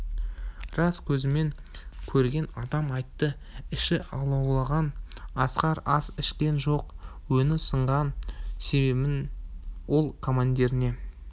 рас көзімен көрген адам айтты іші алауланған асқар ас ішкен жоқ өңі сынған себебін ол командиріне